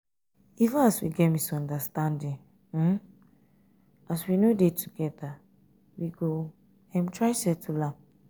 even if we get misunderstanding as um we no dey together we go um try settle am.